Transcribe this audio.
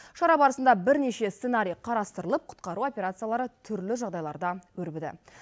шара барысында бірнеше сценарий қарастырылып құтқару операциялары түрлі жағдайларда өрбіді